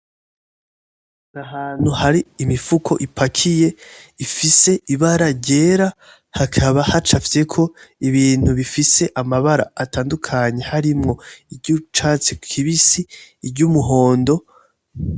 N'ahantu hari imifuko ipakiye ifise ibara ryera hakaba hacafyeko ibintu bifise amabara atandukanye harimwo iry'ucatsi kibisi, iry'umuhondo